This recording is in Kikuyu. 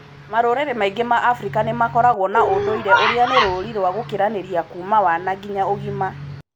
Marũrĩrĩ maingĩ ma Afrika nĩ makoragwo na ũndũire ũrĩa nĩ rũũri rwa gũkĩranĩria kuuma wana nginya ũgima